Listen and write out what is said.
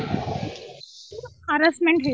harassment ହଉଛନ୍ତି